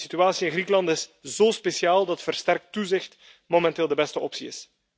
De situatie in Griekenland is zo speciaal dat versterkt toezicht momenteel de beste optie is.